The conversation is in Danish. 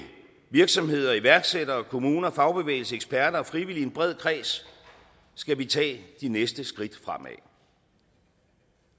virksomheder iværksættere kommuner fagbevægelse eksperter og frivillige en bred kreds skal vi tage de næste skridt fremad